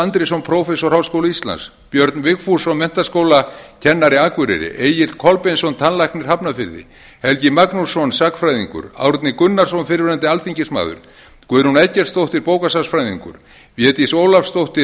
andrésson prófessor háskóla íslands björn vigfússon menntaskólakennari akureyri egill kolbeinsson tannlæknir hafnarfirði helgi magnússon sagnfræðingur árni gunnarsson fyrrverandi alþingismaður guðrún eggertsdóttir bókasafnsfræðingur védís ólafsdóttir